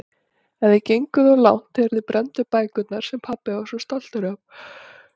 En þið genguð of langt þegar þið brennduð bækurnar sem pabbi var svo stoltur af.